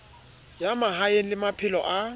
ya mahaeng le maphelo a